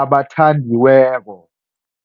abathandiweko.